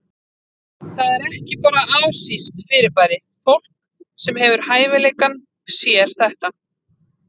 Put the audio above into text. Það er ekki bara asískt fyrirbæri, fólk sem hefur hæfileikann sér þetta.